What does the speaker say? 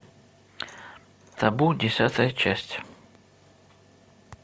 табу десятая часть